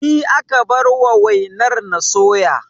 Ni aka bar wa wainar na soya